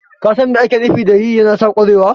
ka san mai ake nufi da yi yana sa ƙwarewa?